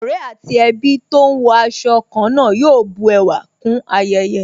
Ọ̀rẹ́ àti ẹbí tó ń wọ aṣọ ká náà yóò bu ẹwà kún ayẹyẹ